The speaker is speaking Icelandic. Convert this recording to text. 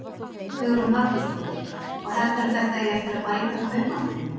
Hugrún Halldórsdóttir: Og heldurðu að þetta eigi eftir að bæta kaupmáttinn?